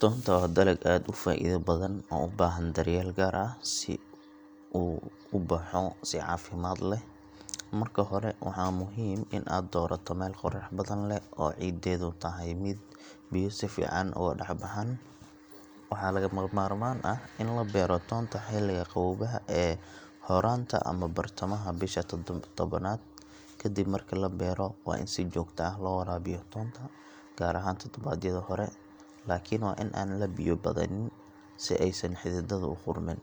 Toonta waa dalag aad u faa’iido badan oo u baahan daryeel gaar ah si uu u baxo si caafimaad leh. Marka hore, waa muhiim in aad doorato meel qorrax badan leh oo ciiddeedu tahay mid biyo si fiican uga dhex baxaan. Waxaa lagama maarmaan ah in la beero toonta xilliga qaboobaha ee horaanta ama bartamaha bisha tobnaad. Ka dib marka la beero, waa in si joogto ah loo waraabiyaa toonta, gaar ahaan toddobaadyada hore, laakiin waa in aan la biyo badanin si aysan xididdadu u qudhmin.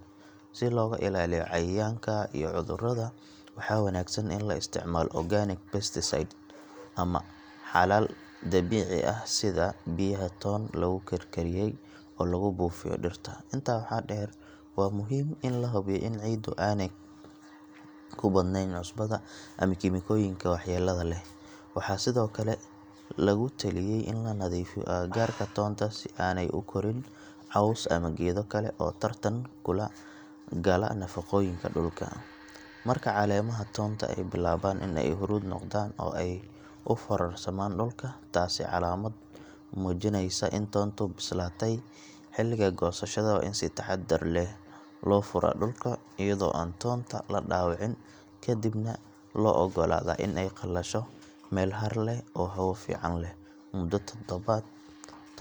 Si looga ilaaliyo cayayaanka iyo cudurrada, waxaa wanaagsan in la isticmaalo organic pesticide ama xalal dabiici ah sida biyaha toon lagu karkariyey oo lagu buufiyo dhirta. Intaa waxaa dheer, waa muhiim in la hubiyo in ciiddu aanay ku badnayn cusbada ama kiimikooyinka waxyeellada leh. Waxaa sidoo kale lagu taliyey in la nadiifiyo agagaarka toonta si aanay u korin caws ama geedo kale oo tartan kula gala nafaqooyinka dhulka. Marka caleemaha toonta ay bilaabaan in ay huruud noqdaan oo ay u foorarsamaan dhulka, taasi waa calaamad muujinaysa in toontu bislaatay. Xilliga goosashada waa in si taxaddar leh loo furaa dhulka iyadoo aan toonta la dhaawicin, ka dibna loo oggolaadaa in ay qalasho meel hadh leh oo hawo fiican leh muddo toddobaad.